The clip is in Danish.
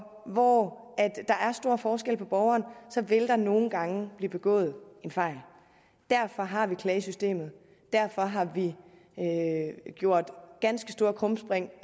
hvor der er stor forskel på borgerne så vil der nogle gange blive begået en fejl derfor har vi klagesystemet og derfor har vi gjort ganske store krumspring